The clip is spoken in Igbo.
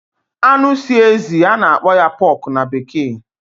anụ si ezi a na-akpọ ya pork na bekee